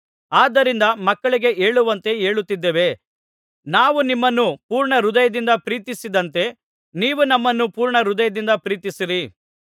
ಆದ್ದರಿಂದ ಮಕ್ಕಳಿಗೆ ಹೇಳುವಂತೆ ಹೇಳುತ್ತಿದ್ದೇವೆ ನಾವು ನಿಮ್ಮನ್ನು ಪೂರ್ಣ ಹೃದಯದಿಂದ ಪ್ರೀತಿಸಿದಂತೆ ನೀವು ನಮ್ಮನ್ನು ಪೂರ್ಣ ಹೃದಯದಿಂದ ಪ್ರೀತಿಸಿರಿ